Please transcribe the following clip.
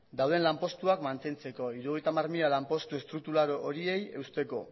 dauden lanpostuak mantentzeko hirurogeita hamar mila lanpostu estruktural horiei eusteko